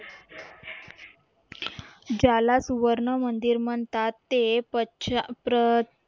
ज्याला सुवर्ण मंदिर म्हणतात ते पछा प्रत